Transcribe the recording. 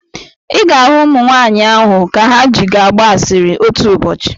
Ị ga-ahụ ụmụnwaanyụ ahụ ka ha ji gị agba asịrị otu ụbọchị.